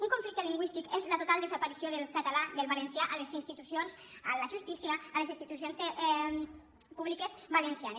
un conflicte lingüístic és la total desaparició del català del valencià a les institucions a la justícia a les institucions públiques valencianes